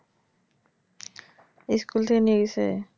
School থেকে নিয়ে গেছে?